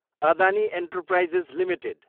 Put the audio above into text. Adani enterprises Ltd